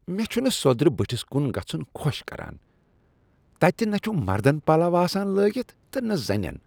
مےٚ چھنہٕ سوٚدرٕ بٔٹھس کن گژھن خۄش کران۔ تتہ چھ نہ مردن پلو آسان لٲگتھ تہٕ نہ زنٮ۪ن۔